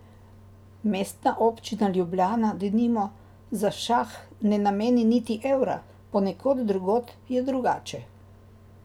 Mestna občina Ljubljana, denimo, za šah ne nameni niti evra, ponekod drugod je drugače.